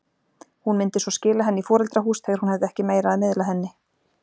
Hún myndi svo skila henni í foreldrahús þegar hún hefði ekki meira að miðla henni.